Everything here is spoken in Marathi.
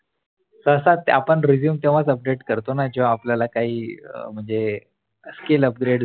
सहसा आपण आपण Resume तेव्हाच Upadate करतो ना जेव्हा आपल्याला काही म्हणजे skill Upgrade